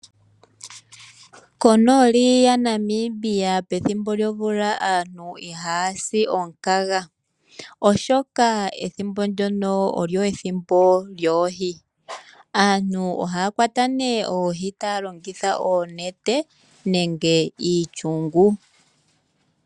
Konooli yaNamibia pethimbo lyomvula, aantu ihaya si omukaga, oshoka ethimbo ndyono olyo ethimbo lyoohi. Aantu ohaya kwata nee oohi taya longitha oonete, nenge iishungu.